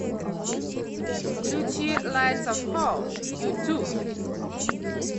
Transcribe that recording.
включи лайтс оф хоум юту